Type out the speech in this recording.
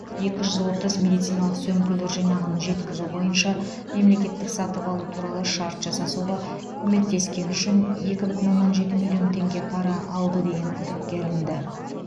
екі жүз отыз медициналық сөмкелер жинағын жеткізу бойынша мемлекеттік сатып алу туралы шарт жасасуға көмектескені үшін екі бүтін оннан жеті миллион теңге пара алды деген күдікке ілінді